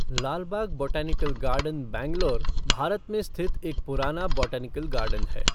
Lalbagh botanical garden Bangalore, Bharat में स्थित एक पुराना बॉटनिकल गार्डन है।